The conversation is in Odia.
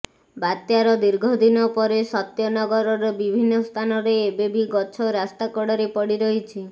ବାତ୍ୟାର ଦୀର୍ଘଦିନ ପରେ ସତ୍ୟ ନଗରର ବିଭିନ୍ନ ସ୍ଥାନରେ ଏବେ ବି ଗଛ ରାସ୍ତା କଡ଼ରେ ପଡ଼ି ରହିଛି